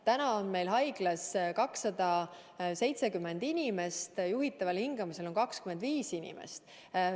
Täna on meil haiglas 270 inimest, juhitaval hingamisel on 25 inimest.